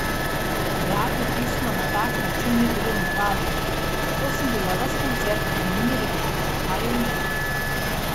Dajati pismo na tak način ni bilo v navadi, zato sem bila ves koncert vznemirjena, kaj je v njem.